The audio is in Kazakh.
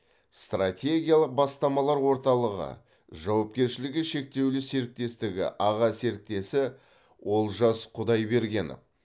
стратегиялық бастамалар орталығы жауапкершілгі шектеулі серіктестігі аға серіктесі олжас құдайбергенов